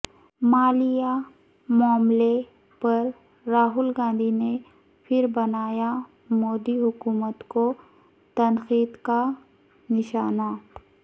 مالیا معاملے پر راہل گاندھی نے پھر بنایا مودی حکومت کو تنقید کا نشانہ